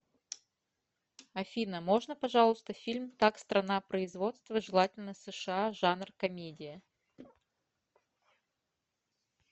афина можно пожалуйста фильм так страна производства желательно сша жанр комедия